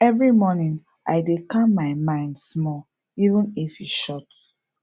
every morning i dey calm my mind small even if e short